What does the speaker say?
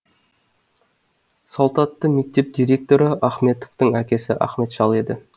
салт атты мектеп директоры ахметовтың әкесі ахмет шал еді